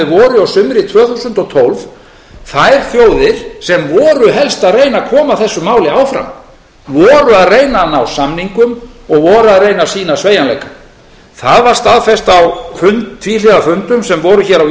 og sumri tvö þúsund og tólf þær þjóðir sem voru helst að reyna að koma þessu máli áfram voru að reyna að ná samningum og voru að reyna að sýna sveigjanleika það var staðfest á tvíhliða fundum sem voru hér á